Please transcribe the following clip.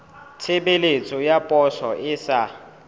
tshebeletso ya poso e sa